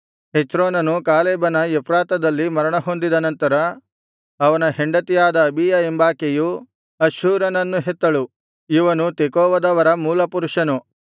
ಹೆಚ್ರೋನನು ಕಾಲೇಬನ ಎಫ್ರಾತದಲ್ಲಿ ಮರಣಹೊಂದಿದ ನಂತರ ಅವನ ಹೆಂಡತಿಯಾದ ಅಬೀಯ ಎಂಬಾಕೆಯು ಅಷ್ಹೂರನನ್ನು ಹೆತ್ತಳು ಇವನು ತೆಕೋವದವರ ಮೂಲಪುರುಷನು